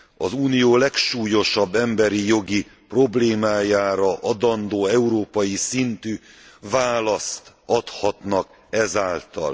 Az Unió legsúlyosabb emberi jogi problémájára adandó európai szintű választ adhatnak ezáltal.